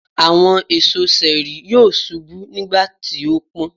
Àwọn èso ṣẹẹri yóò ṣubú nígbàtí ó pọ́n.